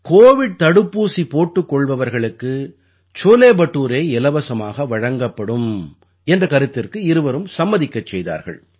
Covid தடுப்பூசி போட்டுக் கொள்பவர்களுக்கு சோலே படூரே இலவசமாக வழங்கப்படும் என்ற கருத்திற்கு இருவரும் சம்மதிக்கச் செய்தார்கள்